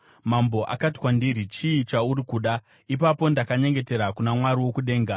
Mambo akati kwandiri, “Chii chauri kuda?” Ipapo ndakanyengetera kuna Mwari wokudenga,